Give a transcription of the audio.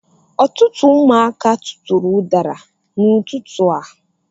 Ọtụtụ ụmụaka tụtụrụ udara n'ututu a